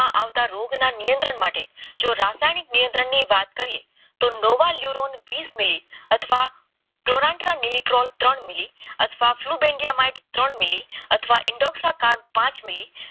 આવતા રોગ ના નિયંત્રણ માટે જો રાસાયણિક નિયંત્રણ ની વાત કરીએ નવા યુરોન વીસ મીલી અથવા નિયંત્રણ મિલી અથવા બ્લુ લિંગીયા ત્રણ મિલી અથવા ઈન્ટ્રક્શન પાંચ મિલી